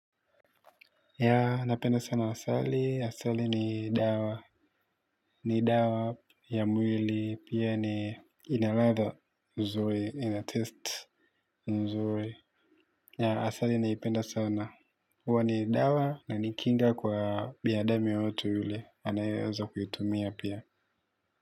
Ya napenda sana asali asali ni dawa ni dawa ya mwili pia ni ina ladha nzuri inataste nzuri asali naipenda sana huwa ni dawa na ni kinga kwa binadamu yeyote yule anayeweza kuitumia pia.